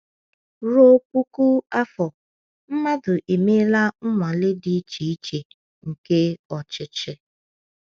Ruo puku afọ, mmadụ emeela nnwale dị iche iche nke ọchịchị.